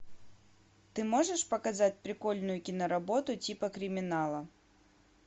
ты можешь показать прикольную киноработу типа криминала